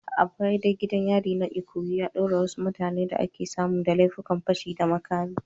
A baya dai gidan yarin na Ikoyi ya daure wasu mutanen da aka samu da laifin fashi da makami.